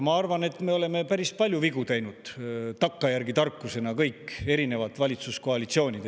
Ma arvan, et me oleme päris palju vigu teinud – takkajärgi tarkusena –, kõik valitsuskoalitsioonid.